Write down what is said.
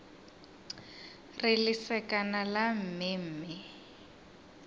re lesekana la mme mme